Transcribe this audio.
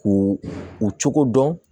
K'u u cogo dɔn